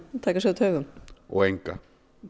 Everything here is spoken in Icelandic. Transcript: taka sig á taugum og enga